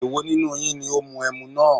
Èwo nínú yín ní ó mu ẹmu náà?